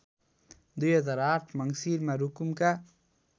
२००८ मङ्सिरमा रुकुमका